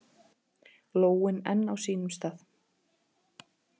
Lóin enn á sínum stað.